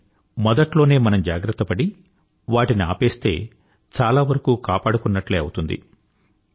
కానీ మొదట్లేనే మనం జాగ్రత్తపడి వాటిని ఆపేస్తే చాలా వరకూ కాపాడుకున్నట్లే అవుతుంది